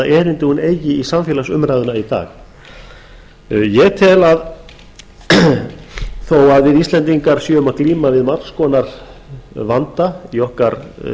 erindi hún eigi í samfélagsumræðuna í dag ég tel að þó að við íslendingar séum að glíma við margs konar vanda í okkar